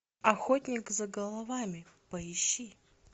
охотник за головами поищи